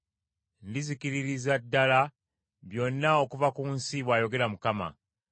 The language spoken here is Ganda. “Ndizikiririza ddala byonna okuva ku nsi,” bw’ayogera Mukama .